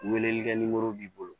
Weleele kɛ ni b'i bolo